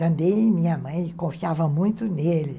Também minha mãe confiava muito nele.